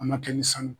A ma kɛ ni sanu